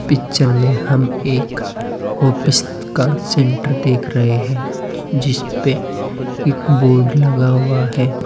Picture में हम एक ऑफिस का सेंटर देख रहे हैं जिसपे एक बोर्ड लगा हुआ है।